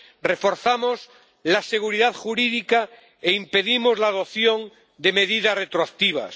Reforzamos la seguridad jurídica e impedimos la adopción de medidas retroactivas.